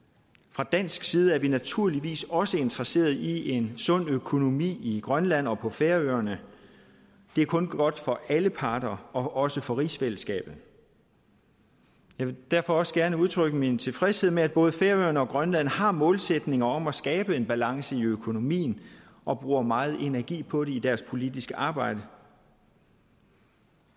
fra dansk side er vi naturligvis også interesseret i en sund økonomi i grønland og på færøerne det er kun godt for alle parter og også for rigsfællesskabet jeg vil derfor også gerne udtrykke min tilfredshed med at både færøerne og grønland har målsætninger om at skabe en balance i økonomien og bruger meget energi på det i deres politiske arbejde